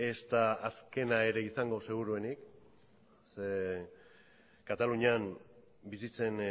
ezta azkena ere izango seguruenik ze katalunian bizitzen